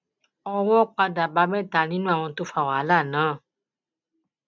owó padà bá mẹta nínú àwọn tó fa wàhálà náà